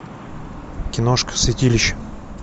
киношка святилище